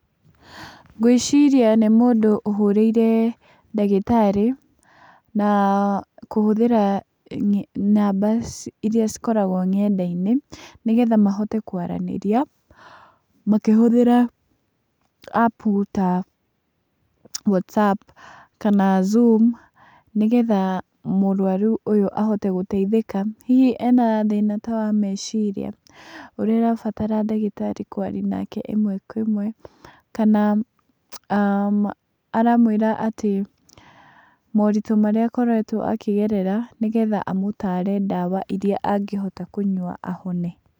Ngwĩciria nĩ mũndũ ũhũrĩire ndagĩtarĩ, na kũhũthĩra namba irĩa cikoragwo nenda-inĩ, nĩgetha mahote kwaranĩria makĩhũthĩra appu ta 'Whatsapp' kana 'Zoom', nĩgetha mũrwaru ũyũ ahote gũteithĩka, hihi ena thĩna ta wa meciria, ũrĩa arabatara ndagĩtarĩ kwaria nake ĩmwe kwa ĩmwe, kana aramwĩra atĩ moritũ marĩa akoretwo akĩgerera, nĩgetha amũtare ndawa irĩa angĩhota kũnywa ahone.